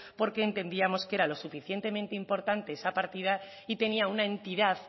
porque entendíamos que era lo suficientemente importante esa partida y tenía una entidad